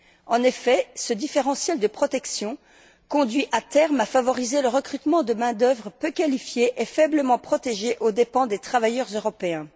En effet, ce différentiel de protection conduit à terme à favoriser le recrutement de main d'œuvre peu qualifiée et faiblement protégée aux dépens des travailleurs européens.